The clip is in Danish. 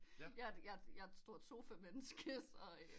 Jeg er et stort sofa menneske så